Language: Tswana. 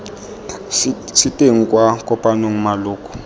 se teng kwa kopanong maloko